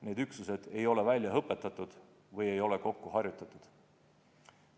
Need üksused ei ole välja õpetatud või ei ole nad kokku harjutanud.